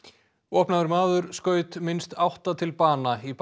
vopnaður maður skaut minnst átta til bana í